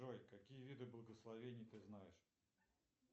джой какие виды благословения ты знаешь